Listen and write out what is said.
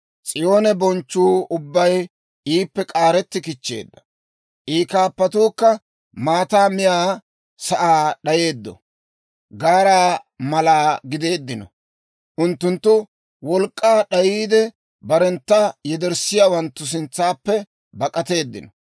S'iyoon bonchchuu ubbay iippe k'aaretti kichcheedda; I kaappatuukka maataa miyaa sa'aa d'ayeedda gaaraa mala gideeddino. Unttunttu wolk'k'aa d'ayiide, barentta yederssiyaawanttu sintsaappe bak'ateeddino.